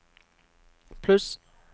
pluss